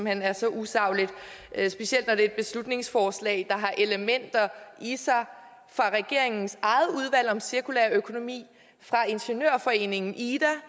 hen er så usagligt specielt når det er et beslutningsforslag der har elementer i sig fra regeringens eget udvalg om cirkulær økonomi fra ingeniørforeningen ida